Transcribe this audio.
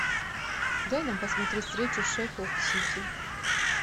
дай нам посмотреть встречу шеффилд с сити